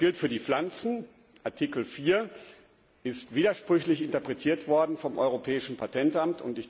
Das gilt für die Pflanzen Artikel 4 ist widersprüchlich interpretiert worden vom Europäischen Patentamt.